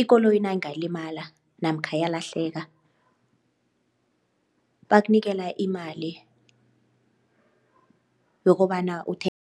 ikoloyi nayingalimala namkha yalahleka bakunikela imali yokobana uthe